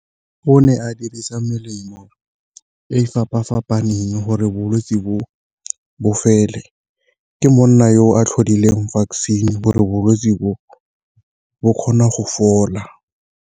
Go ne a dirisa melemo e fapa-fapaneng gore bolwetsi bo bo fele, ke monna yo a tlhodileng vaccine gore bolwetsi bo bo kgona go fola.